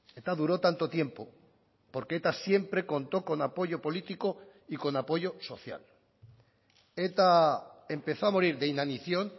eta duró tanto tiempo porque eta siempre contó con apoyo político y con apoyo social eta empezó a morir de inanición